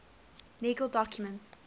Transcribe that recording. legal documents